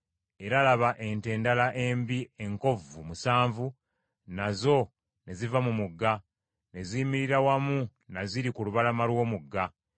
Era laba ente endala embi enkovvu musanvu nazo ne ziva mu mugga, ne ziyimirira wamu na ziri ku lubalama lw’omugga.